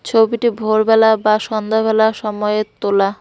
ছবিটি ভোরবেলা বা সন্ধ্যেবেলা সময়ের তোলা।